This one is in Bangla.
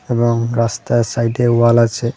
এবং রাস্তার সাইডে ওয়াল আছে.